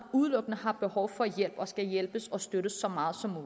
udelukkende har behov for hjælp og skal hjælpes og støttes så meget som